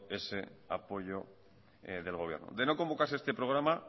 ese apoyo del gobierno de no convocarse este programa